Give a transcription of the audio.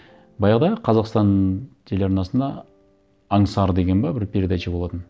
баяғыда қазақстан телеарнасында аңсар деген бе бір передача болатын